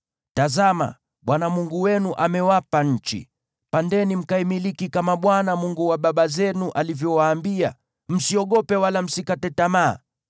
Tazama, Bwana Mungu wenu amewapa nchi. Pandeni mkaimiliki kama Bwana , Mungu wa baba zenu, alivyowaambia. Msiogope, wala msikate tamaa.”